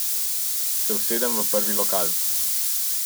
Se usedemo v prvi lokal.